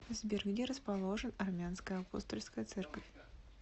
сбер где расположен армянская апостольская церковь